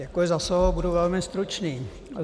Děkuji za slovo, budu velmi stručný.